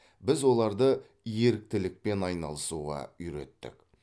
біз оларды еріктілікпен айналысуға үйреттік